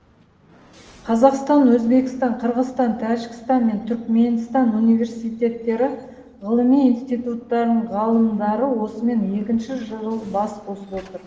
қазақстан өзбекстан қырғызстан тәжікстан мен түрікменстан университеттері ғылыми институтарының ғалымдары осымен екінші жыл бас қосып отыр